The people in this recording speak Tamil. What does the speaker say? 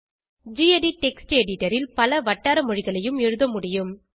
கெடிட் டெக்ஸ்ட் எடிட்டர் ல் பல வட்டார மொழிகளையும் எழுதமுடியும்